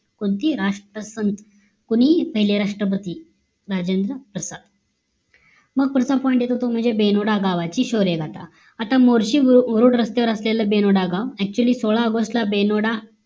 कोणती राष्ट्रसंत कोणी पहिले राष्ट्रपती राजेंद्र प्रसाद मग प्रथम point येतॊ ते म्हणजे बेनोडा गावाची शौर्य गाथा आता मोर्शी रोड रस्त्यावर असलेला बेनोडा गाव actually सोळा ऑगस्टला बेनोडा